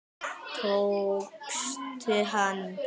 Tókstu hann?